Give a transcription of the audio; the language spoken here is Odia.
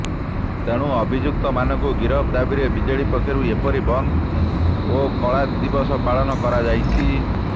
ତେଣୁ ଅଭିଯୁକ୍ତମାନଙ୍କୁ ଗିରଫ ଦାବିରେ ବିଜେପି ପକ୍ଷରୁ ଏପରି ବନ୍ଦ ଓ କଳାଦିବସ ପାଳନ କରାଯାଇଛି